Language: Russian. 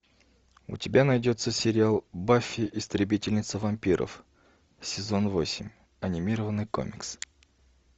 у тебя найдется сериал баффи истребительница вампиров сезон восемь анимированный комикс